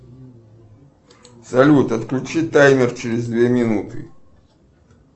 салют отключи таймер через две минуты